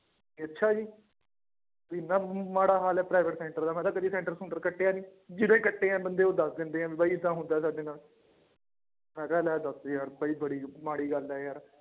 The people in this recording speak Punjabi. ਅੱਛਾ ਜੀ ਇੰਨਾ ਮਾੜਾ ਹਾਲ ਹੈ private center ਦਾ ਮੈਂ ਕਿਹਾ center ਸੂੰਟਰ ਕੱਟਿਆ ਨੀ, ਜਿਹੜੇ ਕੱਟੇ ਆ ਬੰਦੇ ਉਹ ਦੱਸ ਦਿੰਦੇ ਹੈ ਵੀ ਬਾਈ ਏਦਾਂ ਹੁੰਦਾ ਸਾਡੇ ਨਾਲ ਮੈਂ ਕਿਹਾ ਲੈ ਦੱਸ ਯਾਰ ਬਾਈ ਬੜੀ ਮਾੜੀ ਗੱਲ ਹੈ ਯਾਰ।